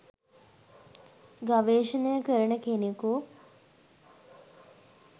ගවේෂණය කරන කෙනෙකු